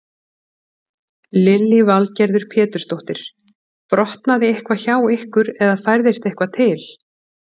Lillý Valgerður Pétursdóttir: Brotnaði eitthvað hjá ykkur eða færðist eitthvað til?